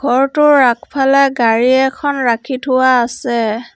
ঘৰটোৰ আগফালে গাড়ী এখন ৰাখি থোৱা আছে।